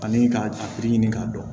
Ani k'a a ɲini k'a dɔn